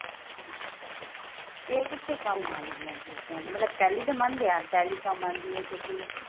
ਅੱਛਾ ਇਹ ਕਿੱਥੇ ਕੰਮ ਆਉਣਗੀਆਂ ਚੀਜ਼ਾਂ ਮਤਲਬ tally ਤਾਂ ਮੰਨ ਲਿਆ tally ਤਾਂ ਮੰਨ ਦੇ ਹਾਂ ਕਿਉਂਕਿ